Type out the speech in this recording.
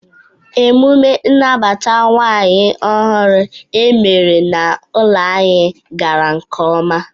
Emume ịnabata nwaanyị ọhụrụ emere na-ụlọ anyi gara nke ọma.